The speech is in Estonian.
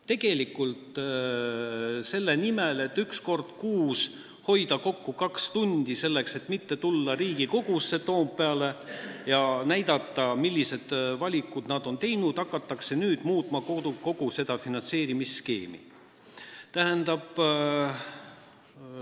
Tegelikult, selle nimel, et üks kord kuus hoida kokku kaks tundi, et mitte tulla Riigikogusse Toompeale ja näidata, milliseid valikuid nad on teinud, hakatakse nüüd kogu seda finantseerimisskeemi muutma.